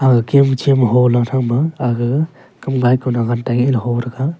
agen chem holan thama aga kam gai ka nang hantai heh ley ho taiga.